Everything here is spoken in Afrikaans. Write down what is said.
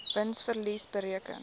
wins verlies bereken